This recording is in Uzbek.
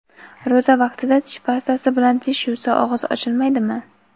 Ro‘za vaqtida tish pastasi bilan tish yuvsa og‘iz ochilmaydimi?.